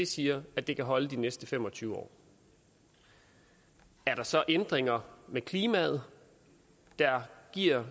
siger at det kan holde de næste fem og tyve år er der så ændringer i klimaet der giver